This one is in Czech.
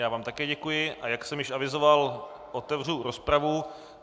Já vám také děkuji, a jak jsem již avizoval, otevřu rozpravu.